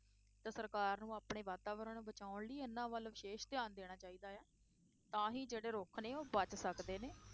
ਤੇ ਸਰਕਾਰ ਨੂੰ ਆਪਣੇ ਵਾਤਾਵਰਨ ਬਚਾਉਣ ਲਈ ਇਹਨਾਂ ਵੱਲ ਵਿਸ਼ੇਸ਼ ਧਿਆਨ ਦੇਣਾ ਚਾਹੀਦਾ ਹੈ, ਤਾਂ ਹੀ ਜਿਹੜੇ ਰੁੱਖ ਨੇ ਉਹ ਬਚ ਸਕਦੇ ਨੇ।